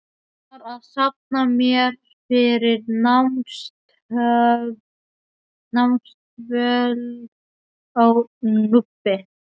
Ég var að safna mér fyrir námsdvöl á Núpi.